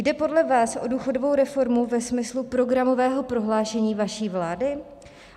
Jde podle vás o důchodovou reformu ve smyslu programového prohlášení vaší vlády?